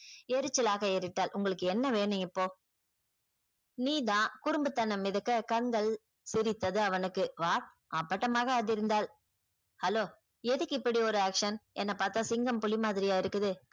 எரிச்சலாக எரித்தால் உங்களுக்கு என்ன வேணும் இப்போ நீதான் குறும்புத்தனம் மிதக்க கண்கள் சிரித்தது அவனுக்கு what அப்பட்டமாக அதிர்ந்தாள் hello எதுக்கு இப்படி ஒரு action என்ன பாத்தா சிங்கம் புலி மாதிரியா இருக்குது.